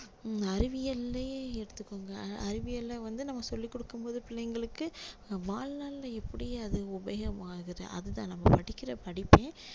அறிவியல்லயே எடுத்துக்கோங்க அறிவியலை வந்து நம்ம சொல்லி கொடுக்கும் போது பிள்ளைங்களுக்கு வாழ்நாள்ல எப்படி அது உபயோகமாகுது அது தான் நம்ம படிக்கிற படிப்பே